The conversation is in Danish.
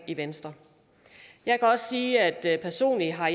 i venstre jeg kan også sige at jeg personligt har